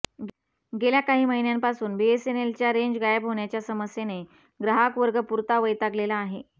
गेल्या काही महिन्यांपासून बीएसएनएलच्या रेंज गायब होण्याच्या समस्येने ग्राहकवर्ग पुरता वैतागलेला आहे